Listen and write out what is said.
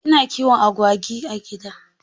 Ina kiwon agwagi a gida.